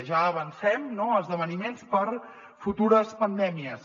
ja avancem no esdeveniments per a futures pandèmies